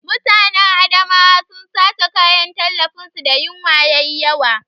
Mutanen Adamawa sun sace kayan tallafin su da yinwa yayi yawa